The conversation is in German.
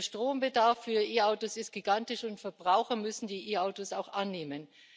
Der Strombedarf für E Autos ist gigantisch, und Verbraucher müssen die E Autos auch annehmen.